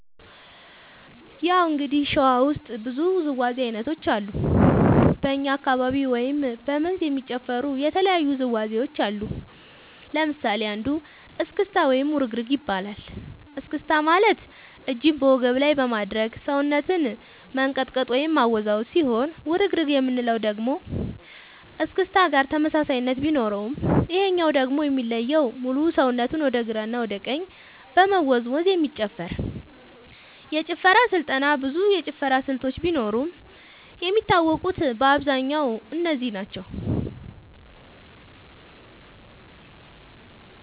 ያው እንግዲህ ሸዋ ውስጥ ብዙ ውዝዋዜ ዐይነቶች አሉ በኛ አካባቢ ወይም በ መንዝ የሚጨፈሩ የተለያዩ ውዝዋዜዎች አሉ ለምሳሌ አንዱ እስክታ ወይም ውርግርግ ይባላል እስክስታ ማለት እጅን በወገብ ላይ በማድረግ ሰውነትን መንቀጥቀጥ ወይም ማወዛወዝ ሲሆን ውርግርግ የምንለው ደግሞ እስክስታ ጋር ተመሳሳይነት ቢኖረውም ይሄኛው ደግሞ የሚለየው ሙሉ ሰውነትን ወደ ግራ እና ወደ ቀኝ በመወዛወዝ የሚጨፈር የጭፈራ ስልጠና ብዙ የጭፈራ ስልቶች ቢኖርም የሚታወቁት በአብዛኛው እነዚህ ናቸው።